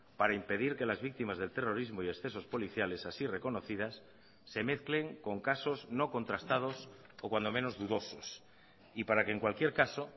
para impedir que las víctimas del terrorismo y excesos policiales así reconocidas se mezclen con casos no contrastados o cuando menos dudosos y para que en cualquier caso